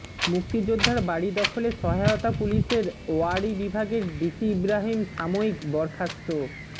মুক্তিযোদ্ধার বাড়ি দখলে সহায়তা পুলিশের ওয়ারী বিভাগের ডিসি ইব্রাহীম সাময়িক বরখাস্ত